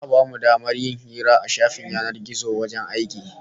Za'a bamu damar yin hira a shafin yanar gizon wajen aiki